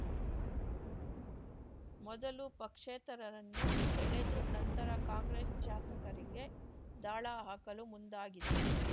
ಮೊದಲು ಪಕ್ಷೇತರರನ್ನು ಸೆಳೆದು ನಂತರ ಕಾಂಗ್ರೆಸ್‌ ಶಾಸಕರಿಗೆ ದಾಳ ಹಾಕಲು ಮುಂದಾಗಿದೆ